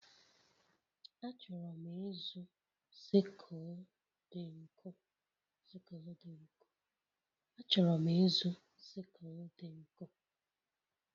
Achọrọ m ịzụ sickle dị nkọ.